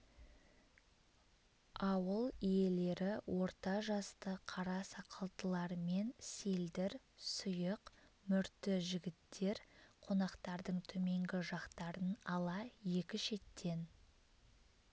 ауыл иелері орта жасты қара сақалдылар мен селдір сүйық мүрты жігіттер қонақтардың төменгі жақтарын ала екі шеттен